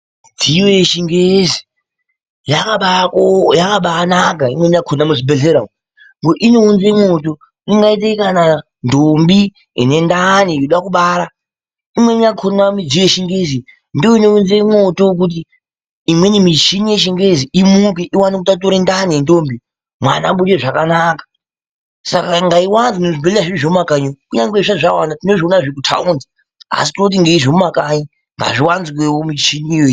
Midziyo yechingezi yakabaanaka imweni yakona muzvibhehlera umwuu ngekuti inounze mwoto ingaaite kana ndombi inendani inode kubara ,imweni yakona midziyo yechingezi ndiyo inounze mwoto kuti imweni michini yechingezi imuke iwane kutature ndani yendombi mwana abude zvakanaka saka ngaiwanzwe muzvibhehlera zvedu zvemumakanyi umwu kunyangwe zvisati zvawanda tinozviona zviri kumataundi asi tinoti zvedu zvemumakanyi ngazviwanzwewo michiniyo.